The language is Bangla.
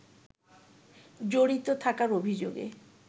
জড়িত থাকার অভিযোগে